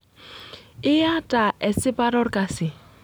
Iyata esipata olkasi.